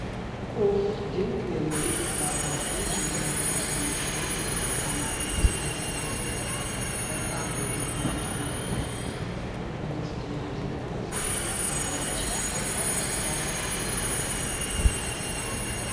ኡፍ! ድንቅ የምግብ ፍለጋ! ይህ የብረት ጥብስ ማሽን ወርቃማ ጥብስ እየጠበሰ ነው! ለፈጣን ምግብ ምርጥ መፍትሄ! በፍጥነት እና በንጽህና ለመጥበስ የሚያስችል ታላቅ መሳሪያ ነው!